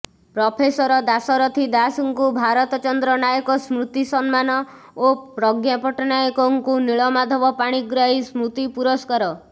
professor Dasarathi ଦାଶଙ୍କୁ ଭାରତ ଚନ୍ଦ୍ର ନାୟକ ସ୍ମୃତି ସମ୍ମାନ ଓ ପ୍ରଜ୍ଞା ପଟ୍ଟନାୟକଙ୍କୁ ନୀଳମାଧବ ପାଣିଗ୍ରାହୀ ସ୍ମୃତି ପୁରସ୍କାର